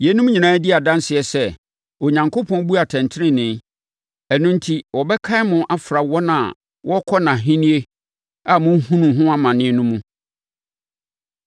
Yeinom nyinaa di adanseɛ sɛ, Onyankopɔn bu atɛntenenee ɛno enti, wɔbɛkan mo afra wɔn a wɔbɛkɔ nʼAhennie a morehunu ho amane no mu.